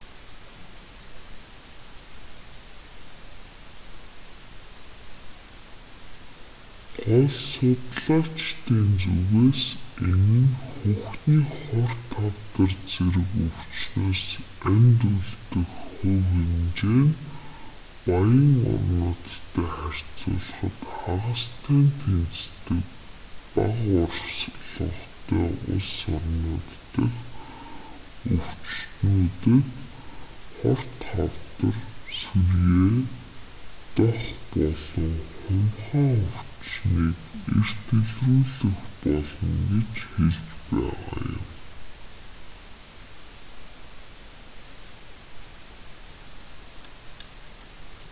гол судлаачдын зүгээс энэ нь хөхний хорт хавдар зэрэг өвчнөөс амьд үлдэх хувь хэмжээ нь баян орнуудтай харьцуулахад хагастай нь тэнцдэг бага орлоготой улс орнууд дахь өвчтөнүүдэд хорт хавдар сүрьеэ дох болон хумхаа өвчнийг эрт илрүүлэх болно гэж хэлж байгаа юм